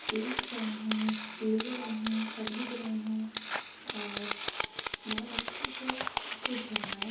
देख रहे हैं ले रहे हैं खरीद रहे हैं और बोहोत अच्छे से सब कुछ जमाया --